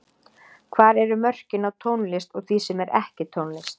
Hvar eru mörkin á tónlist og því sem er ekki tónlist?